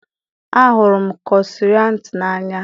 A hụrụ m kroissant n'anya